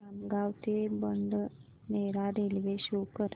खामगाव ते Badnera railway show कर